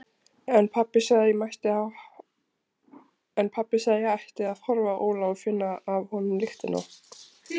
En pabbi sagði að ég ætti að horfa á Óla og finna af honum lyktina.